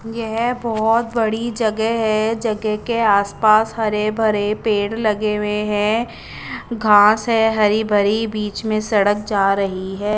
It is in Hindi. येह बोहोत बड़ी जगे है जगे के आस पास हरे भरे पेड़ लगे वे है घास है हरी भरी बिच में सड़क जा रही है।